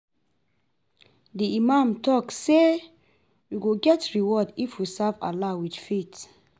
Di imam talk say we go get reward if we serve Allah with faith.